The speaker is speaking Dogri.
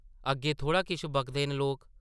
अग्गें थोह्ड़ा किश बकदे न लोक?